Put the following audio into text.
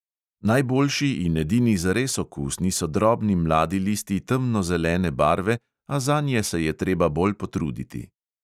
Najboljši in edini zares okusni so drobni mladi listi temnozelene barve, a zanje se je treba bolj potruditi.